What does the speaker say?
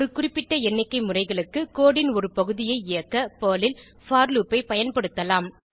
ஒரு குறிப்பிட்ட எண்ணிக்கைமுறைகளுக்கு கோடு ன் ஒரு பகுதியை இயக்க பெர்ல் ல் போர் லூப் ஐ பயன்படுத்தலாம்